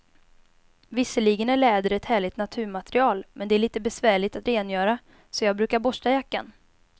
Visserligen är läder ett härligt naturmaterial, men det är lite besvärligt att rengöra, så jag brukar borsta jackan.